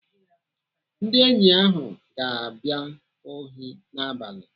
Ndị enyi ahụ ga-abịa ohi n'abalị.